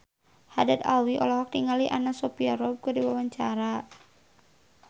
Haddad Alwi olohok ningali Anna Sophia Robb keur diwawancara